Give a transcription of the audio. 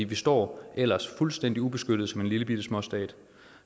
vi står ellers fuldstændig ubeskyttet som lillebitte småstat